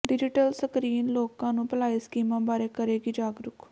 digital screen ਲੋਕਾਂ ਨੂੰ ਭਲਾਈ ਸਕੀਮਾਂ ਬਾਰੇ ਕਰੇਗੀ ਜਾਗਰੂਕ